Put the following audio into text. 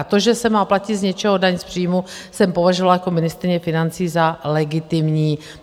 A to, že se má platit z něčeho daň z příjmu, jsem považovala jako ministryně financí za legitimní.